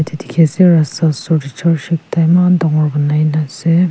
dikhi ase rasta oshor teh church ekta eman dangor banai na ase.